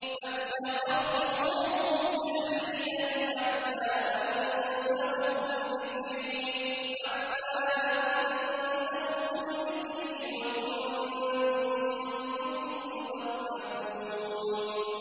فَاتَّخَذْتُمُوهُمْ سِخْرِيًّا حَتَّىٰ أَنسَوْكُمْ ذِكْرِي وَكُنتُم مِّنْهُمْ تَضْحَكُونَ